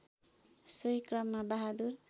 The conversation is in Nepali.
सोही क्रममा बहादुर